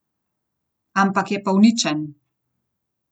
Ampak je pa uničen.